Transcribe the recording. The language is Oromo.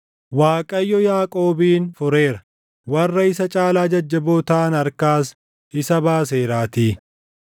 Waaqayyo Yaaqoobin fureera, warra isa caalaa jajjaboo taʼan harkaas isa baaseeraatii.